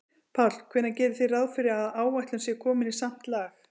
Páll: Hvenær gerið þið ráð fyrir að áætlun sé komin í samt lag?